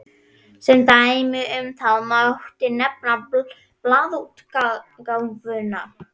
Sem dæmi um það mátti nefna blaðaútgáfuna.